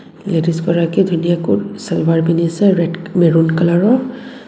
Ladies গৰাকী ধুনীয়াকৈ চালৱাৰ পিন্ধিছে ৰেড -মেৰুন কালাৰ ৰ.